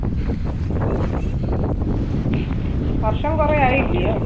വർഷം കുറെ ആയില്ല യോ?